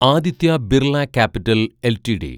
Aditya Birla Capital LTD